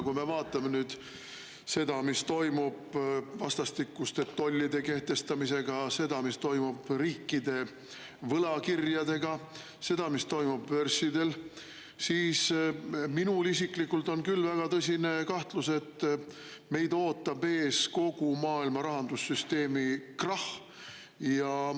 Kui me vaatame seda, mis toimub vastastikuste tollide kehtestamisega, seda, mis toimub riikide võlakirjadega, seda, mis toimub börsidel, siis minul isiklikult tekib küll väga tõsine kahtlus, et meid ootab ees kogu maailma rahandussüsteemi krahh.